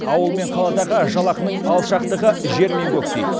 ауыл мен қаладағы жалақының алшақтығы жер мен көктей